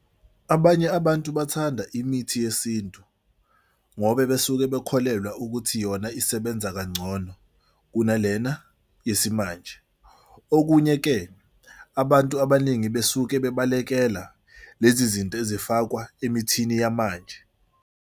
Abanye abantu bathanda imithi yesintu ngoba besuke bekholelwa ukuthi yona isebenza kangcono kunalena yesimanje. Okunye-ke abantu abaningi besuke bebalekela lezi zinto ezifakwa emithini yamanje.